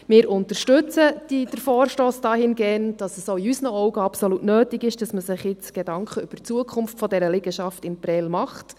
Wir unterstützen den Vorstoss dahingehend, dass es auch in unseren Augen absolut nötig ist, dass man sich jetzt Gedanken über die Zukunft dieser Liegenschaft in Prêles macht.